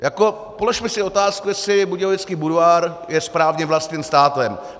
Položme si otázku, jestli budějovický Budvar je správně vlastněn státem.